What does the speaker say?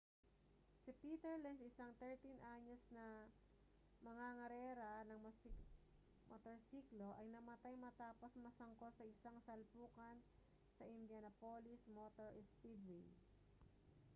si peter lenz isang 13-anyos na mangangarera ng motorsiklo ay namatay matapos masangkot sa isang salpukan sa indianapolis motor speedway